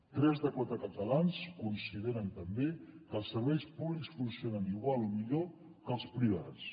tres de cada quatre catalans consideren també que els serveis públics funcionen igual o millor que els privats